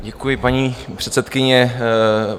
Děkuji, paní předsedkyně.